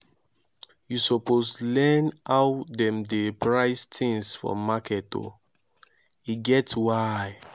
you suppose learn how dem dey price tins for market o e get why.